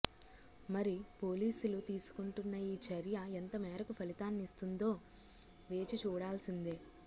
మరి పోలీసులు తీసుకుంటున్న ఈ చర్య ఎంత మేరకు ఫలితానిస్తుందో వేచి చూడాల్సిందే